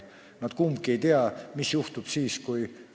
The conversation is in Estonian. Nad kumbki ei tea, mis juhtub siis, kui ...